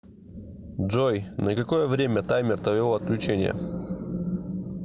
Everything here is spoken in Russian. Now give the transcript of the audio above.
джой на какое время таймер твоего отключения